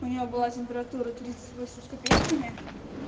у неё была температура тридцать восемь с копейками